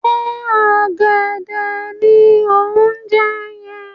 Ṣé ọ̀gẹ̀dẹ̀ ni o ń jẹ́ yẹn?